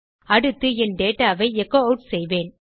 அடுத்து என் டேட்டா ஐ எச்சோ ஆட் செய்வேன்